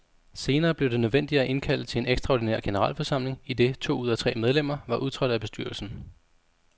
Senere blev det nødvendigt at indkalde til en ekstraordinær generalforsamling, idet to ud af tre medlemmer var udtrådt af bestyrelsen.